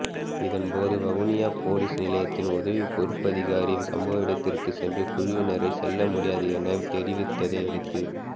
இதன்போது வவுனியா பொலிஸ் நிலையத்தின் உதவி பொறுப்பதிகாரி சம்பவ இடத்திற்கு சென்று குழுவினரை செல்ல முடியாது என தெரிவத்ததையடுத்து